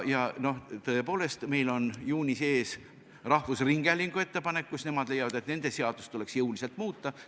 Tõepoolest, meil on juunis ees rahvusringhäälingu ettepanek, milles nad leiavad, et nende seadust tuleks jõuliselt muuta.